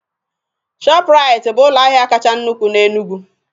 Shọpraiti bụ ụlọ ahịa kacha nnukwu n'Enugwu